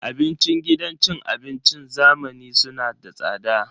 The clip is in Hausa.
Abincin gidan cin abincin zamani suna da tsada.